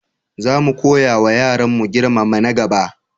Za mu koyawa yaranmu girmama na gaba.